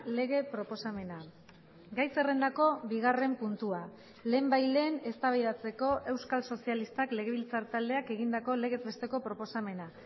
lege proposamena gai zerrendako bigarren puntua lehenbailehen eztabaidatzeko euskal sozialistak legebiltzar taldeak egindako legez besteko proposamena